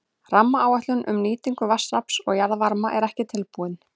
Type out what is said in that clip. Rammaáætlun um nýtingu vatnsafls og jarðvarma er ekki tilbúin.